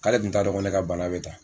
K'ale kun ta dɔn ko ne ka bana bɛ tan.